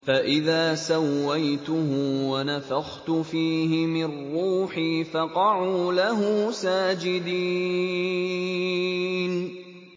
فَإِذَا سَوَّيْتُهُ وَنَفَخْتُ فِيهِ مِن رُّوحِي فَقَعُوا لَهُ سَاجِدِينَ